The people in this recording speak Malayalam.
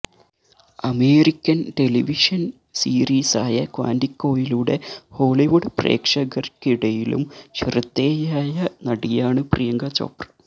അമേരിക്കന് ടെലിവിഷന് സീരീസായ ക്വാന്റിക്കോയിലൂടെ ഹോളിവുഡ് പ്രേക്ഷകര്ക്കിടയിലും ശ്രദ്ധേയയായ നടിയാണ് പ്രിയങ്ക ചോപ്ര